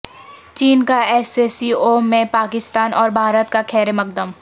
چین کا S C O میں پاکستان اور بھارت کا خیرمقدم